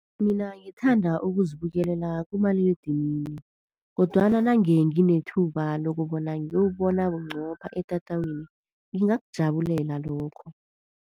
Mina ngithanda ukuzibukelela kumaliledinini, kodwana nangenginethuba lokubona ngiyowubona bunqopha etatawini ngingakujabulela lokho.